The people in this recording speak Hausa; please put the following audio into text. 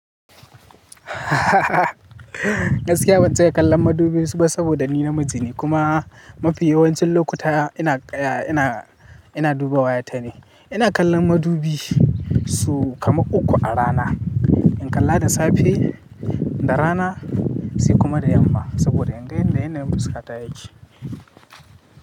Gaskiya ban saya kallon madubi ba saboda ni namiji ne kuma mafi yawancin lokuta ina kaya ina, ina duba wayata ne. Ina kallon madubi su kama uku a rana, in kalla da safe, da rana sai kuma da yamma saboda inga inda yanayin fuskata yake.